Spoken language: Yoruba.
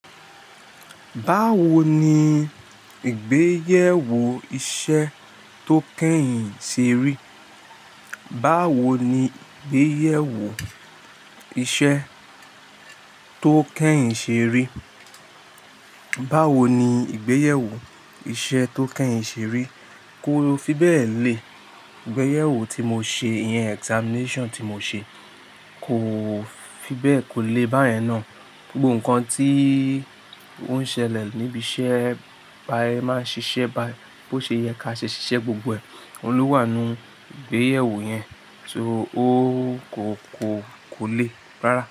Báwo ni ìgbéyèwò iṣẹ́ tó kẹ́yìn ṣe rí? Báwo ni ìgbéyèwò iṣẹ́ tó kẹ́yìn ṣe rí? Báwo ni ìgbéyèwò iṣẹ́ tó kẹ́yìn ṣe rí? Kó fi bẹ́ẹ̀ lé, ìgbéyèwò tí mo ṣe, iyen examination tí mo ṣe kò fi bẹ́ẹ̀ kò lè bá yẹn ná. Gbogbo nǹkan tí ó ń ṣẹlẹ̀ níbi iṣẹ́ bá yẹn máa ń ṣiṣẹ́ bá yẹn, bó ṣe yẹ ká ṣe ṣiṣẹ́ gbogbo ẹ̀. Òun ló wà nínú ìgbéyèwò yẹn, so o kò, kò, kò lè rárá.